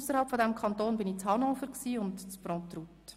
Ausserhalb des Kantons war ich in Hannover und in Pruntrut.